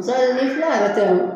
me kila ka la